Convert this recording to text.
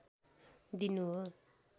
दिनु हो